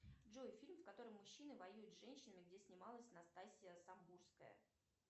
джой фильм в котором мужчины воюют с женщинами где снималась настасья самбурская